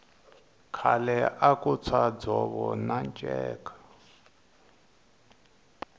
khale aku tshwa dzovo na nceka